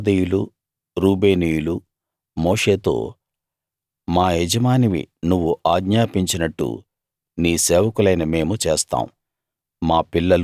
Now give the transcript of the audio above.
అందుకు గాదీయులు రూబేనీయులు మోషేతో మా యజమానివి నువ్వు ఆజ్ఞాపించినట్టు నీ సేవకులైన మేము చేస్తాం